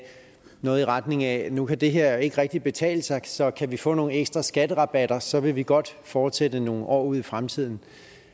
noget i retning af nu kan det her ikke rigtig betale sig så kan vi få nogle ekstra skatterabatter så vil vi godt fortsætte nogle år ud i fremtiden